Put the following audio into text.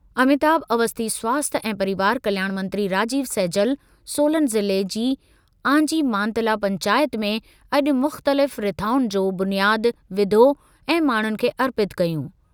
अमिताभ अवस्थी स्वास्थ्य ऐं परिवार कल्याण मंत्री राजीव सैजल, सोलन ज़िले जी आंजी मातला पंचायत में अॼु मु‍ख़्तलिफ़ रिथाउनि जो बुनियाद विधो ऐं माण्हुनि खे अर्पितु कयूं।